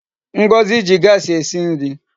Ngozi ji Gasi esi nri